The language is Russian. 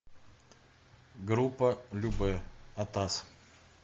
группа любэ атас